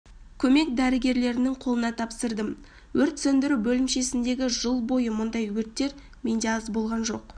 көмек дәрігерлерінің қолына тапсырдым өрт сөндіру бөлімшесіндегі жыл бойы мұндай өрттер менде аз болған жоқ